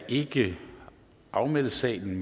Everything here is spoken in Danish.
ikke afmelde sagen af den